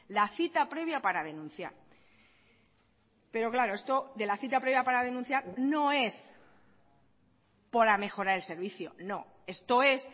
la cita previa para denunciar pero claro esto de la cita previa para denunciar no es por la mejora del servicio no esto es